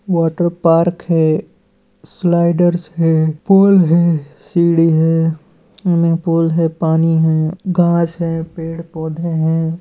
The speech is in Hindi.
वाटर पार्क है स्लाइडारस है पोल है सीड़ी है सूइमिंग पूल है पानी है घास है पेड़ पौधे हैं।